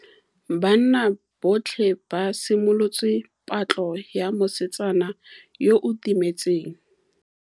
Banna botlhê ba simolotse patlô ya mosetsana yo o timetseng.